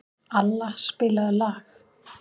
Alla, spilaðu lag.